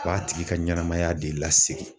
O b'a tigi ka ɲɛnɛmaya de lasegin.